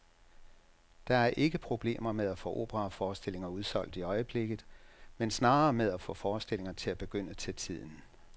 Der er ikke problemer med at få operaforestillinger udsolgt i øjeblikket, men snarere med at få forestillingerne til at begynde til tiden.